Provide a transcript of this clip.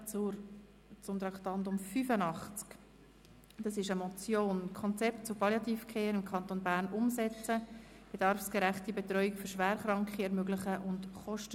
Der Regierungsrat ist bereit, diese Motion ziffernweise zu prüfen und zum Teil als Postulat anzunehmen.